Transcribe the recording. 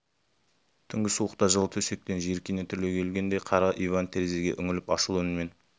түнгі суықта жылы төсектен жиіркене түрегелген қара иван терезеге үңіліп ашулы үнмен